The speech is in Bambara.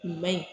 Kun man ɲi